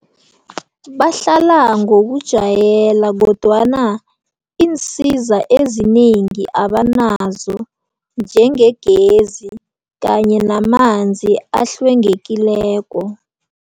Bahlala ngokujwayela kodwana iinsiza ezinengi abanazo njengegezi kanye namanzi ahlwengekileko.